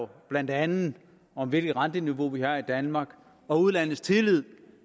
blandt andet om hvilket renteniveau vi har i danmark og udlandets tillid